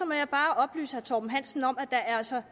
må jeg bare oplyse herre torben hansen om at der altså